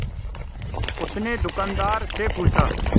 उसने दुकानदार से पूछा